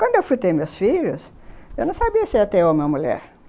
Quando eu fui ter meus filhos, eu não sabia se ia ter homem ou mulher.